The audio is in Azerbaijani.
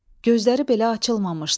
Gözləri belə açılmamışdı.